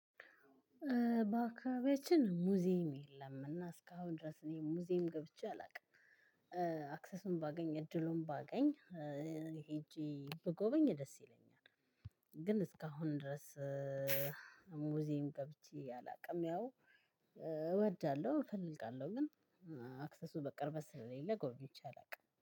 በአከባቢያችን ሙዚየም የለምና እስካሁን ድረስ እኔ ሙዚየም ገብቼ አላውቅም። አክሰሱን ባገኝ እድሉን ባገኝ ሄጄ ብጎበኝ ደስ ይለኛል። ግን እስካሁን ድረስ ሙዝዬም ገብቼ አላቅም። ያው እወዳለው እፈልጋለው ግን አክሰሱ በቅርበት ስለሌለ ጎብኝቼ አላውቅም